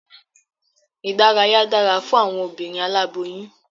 Ìdárayá dára fún awọn obinrin aláboyún